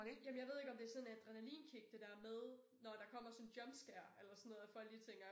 Jamen jeg ved ikke om det sådan adrenalinkick det dér med når der kommer sådan jumpscare eller sådan noget at folk de tænker